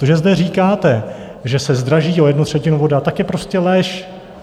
To, že zde říkáte, že se zdraží o jednu třetinu voda, tak je prostě lež.